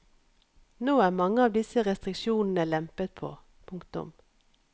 Nå er mange av disse restriksjonene lempet på. punktum